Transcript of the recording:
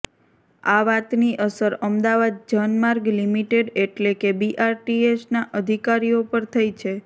આ વાતની અસર અમદાવાદ જનમાર્ગ લીમીટેડ એટલે કે બીઆરટીએસના અધિકારીઓ પર થઇ છે